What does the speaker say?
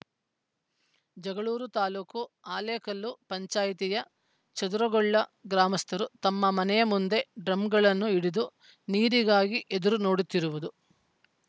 ಜಗಳೂರು ತಾಲ್ಲೂಕು ಹಾಲೇಕಲ್ಲು ಪಂಚಾಯಿತಿಯ ಚದುರುಗೊಳ್ಳ ಗ್ರಾಮಸ್ಥರು ತಮ್ಮ ಮನೆಯ ಮುಂದೆ ಡ್ರಮ್‌ಗಳನ್ನು ಹಿಡಿದು ನೀರಿಗಾಗಿ ಎದುರು ನೋಡುತ್ತಿರುವುದು